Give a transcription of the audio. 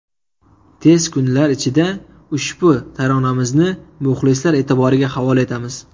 Tez kunlar ichida ushbu taronamizni muxlislar e’tiboriga havola etamiz.